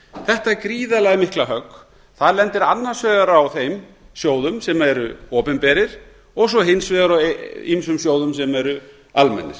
þetta gríðarlega mikla högg lendir annars vegar á þeim sjóðum sem eru opinberir og svo hins vegar á ýmsum sjóðum sem eru almennir